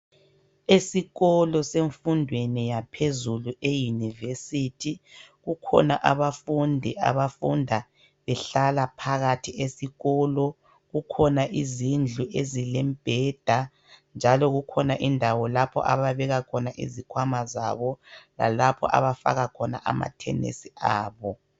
Esikolo semfundweni yangaphezulu e university kukhona abafundi abafunda behlala phakathi esikolo kukhona izindlu ezilembheda njalo kukhona indawo lapho ababeka khona izikhwama zabo lalapho abafaka khona amathenisi abo.